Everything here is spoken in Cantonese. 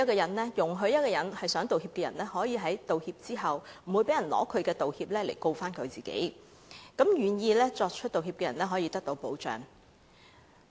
《條例草案》容許一個想道歉的人，道歉後不會被人利用其道歉來控告自己，讓願意作出道歉的人可以得到保障。